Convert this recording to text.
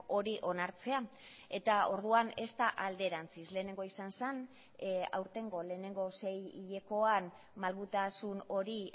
hori onartzea eta orduan ez da alderantziz lehenengoa izan zen aurtengo lehenengo sei hilekoan malgutasun hori